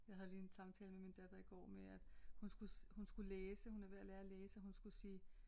Jeg havde lige en samtale med min datter i går med at hun skulle læse hun er ved at lære at læse og hun skulle sige